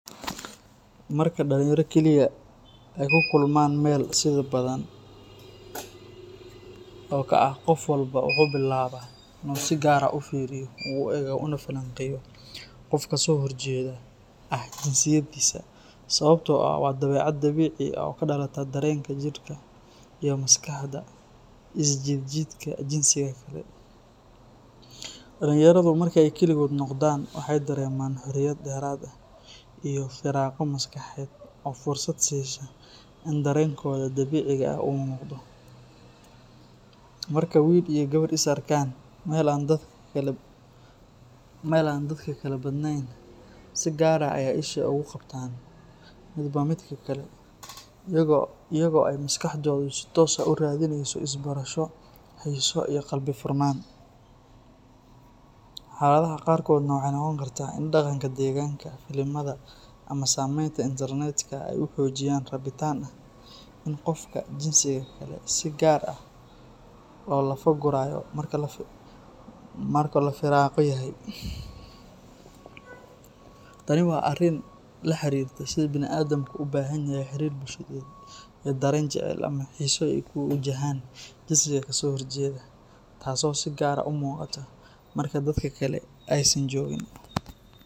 Marka dhalinyaro kaliya ay ku kulmaan meel sida Badhan oo kale ah, qof walba wuxuu bilaabaa in uu si gaar ah u fiiriyo, u eego, una falanqeeyo qofka kasoo horjeeda ah jinsiyadiisa sababtoo ah waa dabeecad dabiici ah oo ka dhalata dareenka jidhka iyo maskaxda ee is jiid jiidka jinsiga kale. Dhalinyaradu marka ay keligood noqdaan waxay dareemaan xorriyad dheeraad ah iyo firaaqo maskaxeed oo fursad siisa in dareenkooda dabiiciga ah uu muuqdo. Marka wiil iyo gabar is arkaan meel aan dadka kale badanayn, si gaar ah ayay isha ugu qabtaan midba midka kale iyaga oo ay maskaxdoodu si toos ah u raadineyso is-barasho, xiiso, iyo qalbi furnaan. Xaaladaha qaarkoodna waxay noqon kartaa in dhaqanka deegaanka, filimada, ama saameynta internet-ka ay xoojiyaan rabitaanka ah in qofka jinsiga kale si gaar ah loo lafa guraayo marka la firaaqo yahay. Tani waa arrin la xiriirta sida bani’aadamku u baahan yahay xiriir bulsheed iyo dareen jacayl ama xiiso ee ku wajahan jinsiga ka soo horjeeda, taasoo si gaar ah u muuqata marka dadka kale aysan joogin.